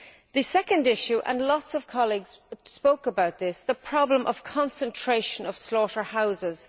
The second issue and lots of colleagues spoke about this is the problem of the concentration of slaughterhouses.